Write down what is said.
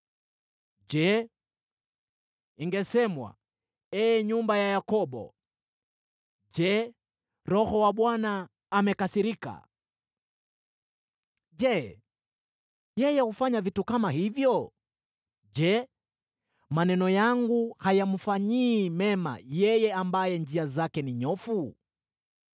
Je, ingesemwa, ee nyumba ya Yakobo: “Je, Roho wa Bwana amekasirika? Je, yeye hufanya vitu kama hivyo?” “Je, maneno yangu hayamfanyii mema yeye ambaye njia zake ni nyofu?